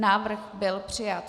Návrh byl přijat.